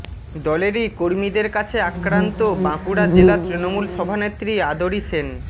দলেরই কর্মীদের কাছে আক্রান্ত বাঁকুড়া জেলা তৃণমূল সভানেত্রী আদরি সেন